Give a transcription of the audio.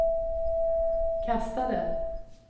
kastade